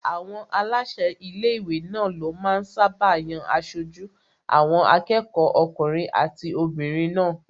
Àwọn aláṣẹ ilé-ìwé náà ló máa ń sáábà yan aṣojú àwọn akẹ́kọ̀ọ́ okùnrin àti obìnrin náà